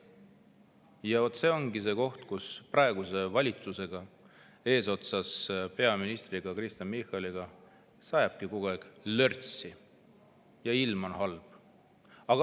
Vaat see ongi nii, et praeguse valitsuse eesotsas peaminister Kristen Michaliga sajabki kogu aeg lörtsi ja ilm on halb.